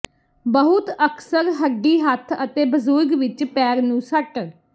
ਬਹੁਤ ਅਕਸਰ ਹੱਡੀ ਹੱਥ ਅਤੇ ਬਜ਼ੁਰਗ ਵਿਚ ਪੈਰ ਨੂੰ ਸੱਟ